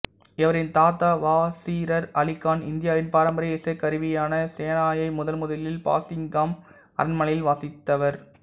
இவரின் தாத்தா வாசிர் அலி கான் இந்தியாவின் பாரம்பரிய இசைக்கருவியான செனாயை முதன்முதலில் பாங்கிங்காம் அரண்மனையில் வாசித்தவர்